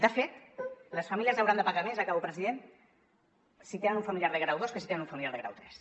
de fet les famílies hauran de pagar més acabo president tant si tenen un familiar de grau dos com si tenen un familiar de grau tres